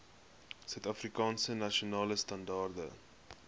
suidafrikaanse nasionale standaarde